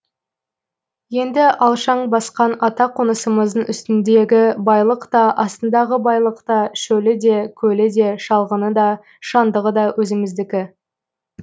енді алшаң басқан ата қонысымыздың үстіндегі байлық та астындағы байлық та шөлі де көлі де шалғыны да шаңдығы да өзіміздікі